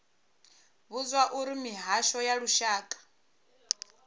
vhudzwa uri mihasho ya lushaka